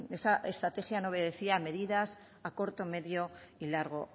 esa estrategia no obedecía a medidas a corto medio y largo